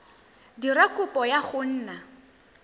dira kopo ya go nna